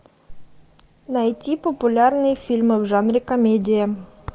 найти популярные фильмы в жанре комедия